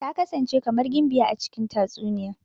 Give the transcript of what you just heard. Ta kasance kamar gimbiya a cikin tatsuniya.